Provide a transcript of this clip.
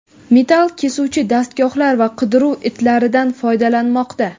metall kesuvchi dastgohlar va qidiruv itlaridan foydalanmoqda.